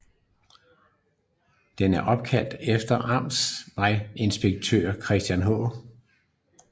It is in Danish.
Den er opkaldt efter amtsvejinspektør Christen H